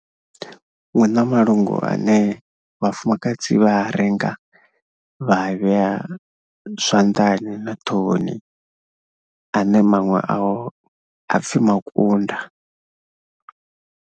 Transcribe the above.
Hu na malungu ane vhafumakadzi vha a renga vha vhea zwanḓani na ṱhohoni ane maṅwe ao a pfhi makunda.